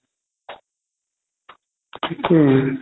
থিকে